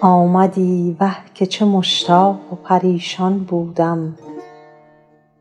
آمدی وه که چه مشتاق و پریشان بودم